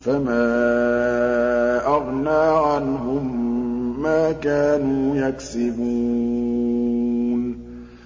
فَمَا أَغْنَىٰ عَنْهُم مَّا كَانُوا يَكْسِبُونَ